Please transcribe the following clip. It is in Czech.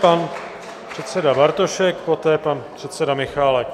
Pan předseda Bartošek, poté pan předseda Michálek.